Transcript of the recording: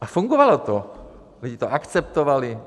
A fungovalo to, lidi to akceptovali.